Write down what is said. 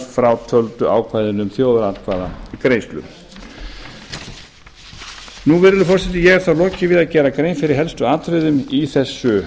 frátöldu ákvæðinu um þjóðaratkvæðagreiðslur virðulegi forseti ég hef þá lokið við að gera grein fyrir helstu atriðum í þessu